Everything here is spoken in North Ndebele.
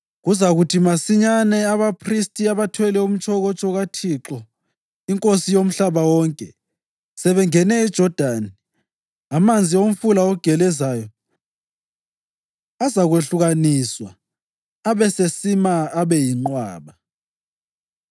Kuzakuthi masinyazana abaphristi abathwele umtshokotsho kaThixo, iNkosi yomhlaba wonke, sebengene eJodani, amanzi omfula ogelezayo azakwehlukaniswa abesesima abe yinqwaba.”